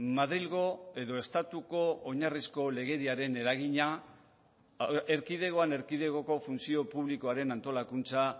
madrilgo edo estatuko oinarrizko legediaren eragina erkidegoan erkidegoko funtzio publikoaren antolakuntza